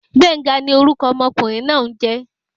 Gbenga ni orúkọ ọmọkùnrin náà n jé